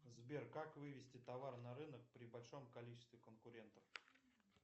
сбер как вывести товар на рынок при большом количестве конкурентов